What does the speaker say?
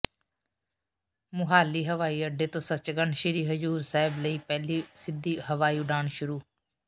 ਮੁਹਾਲੀ ਹਵਾਈ ਅੱਡੇ ਤੋਂ ਸੱਚਖੰਡ ਸ੍ਰੀ ਹਜ਼ੂਰ ਸਾਹਿਬ ਲਈ ਪਹਿਲੀ ਸਿੱਧੀ ਹਵਾਈ ਉਡਾਣ ਸ਼ੁਰੂ